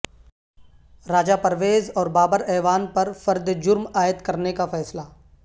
راجا پرویز اور بابر اعوان پر فرد جرم عائد کرنے کا فیصلہ